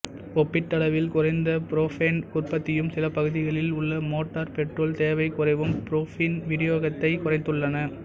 ஒப்பீட்டளவில் குறைந்த புரோப்பேன் உற்பத்தியும் சில பகுதிகளில் உள்ள மோட்டார் பெட்ரோல் தேவை குறைவும் புரோப்பீன் விநியோகத்தைக் குறைத்துள்ன